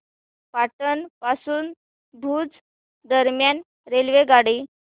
पाटण पासून भुज दरम्यान रेल्वेगाडी